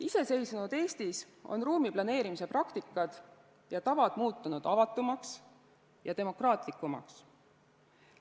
Iseseisvunud Eestis on ruumiplaneerimise praktika ja tavad muutunud avatumaks ja demokraatlikumaks.